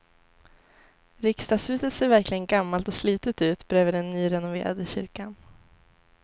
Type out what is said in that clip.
Riksdagshuset ser verkligen gammalt och slitet ut bredvid den nyrenoverade kyrkan.